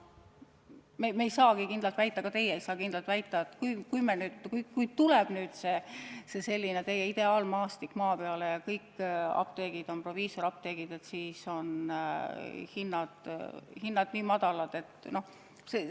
Me ei saa kindlalt väita – ka teie ei saa kindlalt väita –, et kui tuleb see teie ideaalmaastik maa peale ja kõik apteegid on proviisoriapteegid, siis on hinnad madalad.